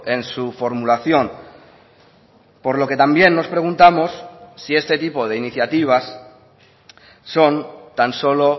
en su formulación por lo que también nos preguntamos si este tipo de iniciativas son tan solo